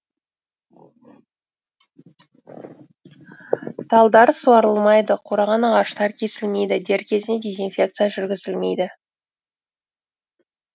талдар суарылмайды қураған ағаштар кесілмейді дер кезінде дезинфекция жүргізілмейді